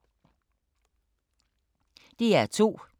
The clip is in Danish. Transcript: DR2